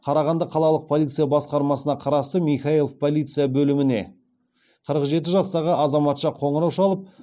қарағанды қалалық полиция басқармасына қарасты михайлов полиция бөліміне қырық жеті жастағы азаматша қоңырау шалып